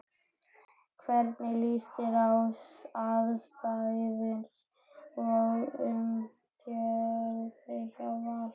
Hvernig líst þér á aðstæður og umgjörðina hjá Val?